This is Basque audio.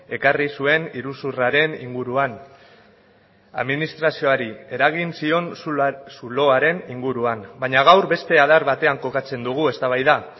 ekarri zuen iruzurraren inguruan administrazioari eragin zion zuloaren inguruan baina gaur beste adar batean kokatzen dugu eztabaida